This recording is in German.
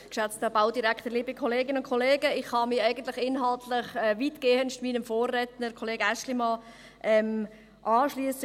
Ich kann mich inhaltlich weitestgehend meinem Vorredner, Kollege Aeschlimann, anschliessen.